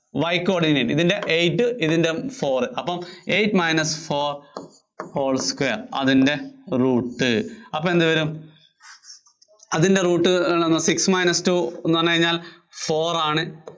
Y coordinate, ഇതിന്‍റെ eight ഇതിന്‍റെ four അപ്പം eight minus four whole square അതിന്‍റെ root അപ്പോ എന്തു വരും? അതിന്‍റെ root six minus two എന്ന് പറഞ്ഞുകഴിഞ്ഞാല്‍ four ആണ്.